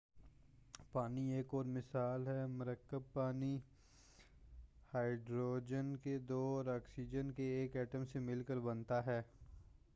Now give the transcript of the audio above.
پانی ایک اور مثال ہے مرکب پانی ہائیڈروجن کے دو اور آکسیجن کے ایک ایٹم سے مل کر بنتا ہے